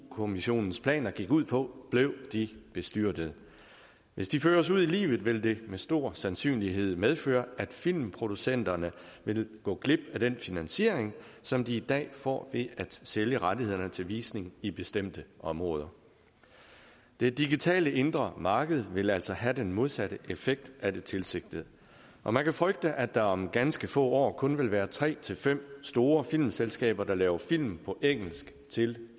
kommissionens planer gik ud på blev de bestyrtede hvis de føres ud i livet vil det med stor sandsynlighed medføre at filmproducenterne vil gå glip af den finansiering som de i dag får ved at sælge rettighederne til visning i bestemte områder det digitale indre marked vil altså have den modsatte effekt af det tilsigtede og man kan frygte at der om ganske få år kun vil være tre til fem store filmselskaber der laver film på engelsk til